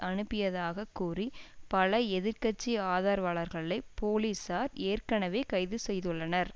அனுப்பியதாகக் கூறி பல எதிர் கட்சி ஆதரவாளர்களை போலிசார் ஏற்கனவே கைதுசெய்துள்ளனர்